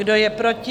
Kdo je proti?